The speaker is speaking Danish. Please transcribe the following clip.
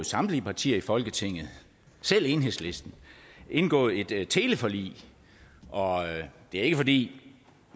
samtlige partier i folketinget selv enhedslisten indgået et teleforlig og det er ikke fordi